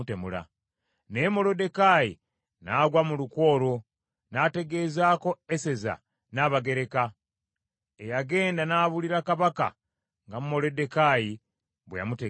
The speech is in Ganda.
Naye Moluddekaayi n’agwa mu lukwe olwo, n’ategeezaako Eseza Nnabagereka, eyagenda n’abuulira Kabaka nga Moluddekaayi bwe yamutegeeza.